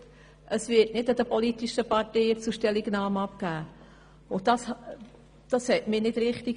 Dann hiess es, dies werde den politischen Parteien nicht zur Stellungnahme vorgelegt, und das fand ich nicht richtig.